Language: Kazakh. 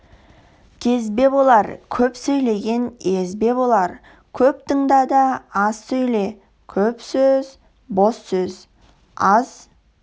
кезбе болар көп сөйлеген езбе болар көп тыңда аз сөйле көп сөз бос сөз аз